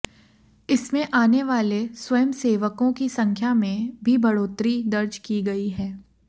इसमें आने वाले स्वयंसेवकों की संख्या में भी बढ़ोतरी दर्ज की गई है